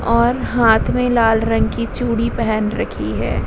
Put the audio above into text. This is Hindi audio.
और हाथ में लाल रंग की चूड़ी पेहेन रखी है।